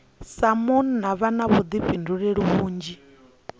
sa munna vha na vhuḓifhinduleli vhunzhi